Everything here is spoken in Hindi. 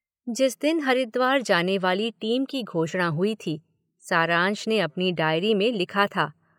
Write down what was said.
जिस दिन हरिद्वार जाने वाली टीम की घोषणा हुई थी, सारांश ने अपनी डायरी में लिखा था।